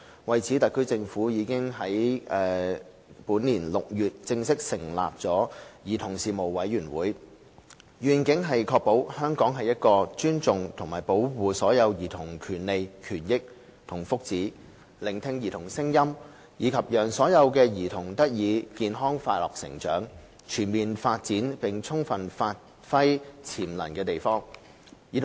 為此，特區政府已於本年6月正式成立兒童事務委員會，願景是確保香港是一個尊重及保障所有兒童權利、權益和福祉、聆聽兒童聲音，以及讓所有兒童得以健康快樂成長，全面發展並充分發揮潛能的地方。